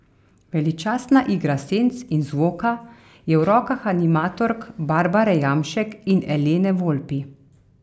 Veličastna igra senc in zvoka je v rokah animatork Barbare Jamšek in Elene Volpi.